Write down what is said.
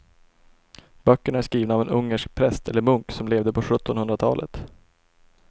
Böckerna är skrivna av en ungersk präst eller munk som levde på sjuttonhundratalet.